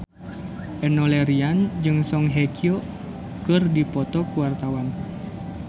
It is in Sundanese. Enno Lerian jeung Song Hye Kyo keur dipoto ku wartawan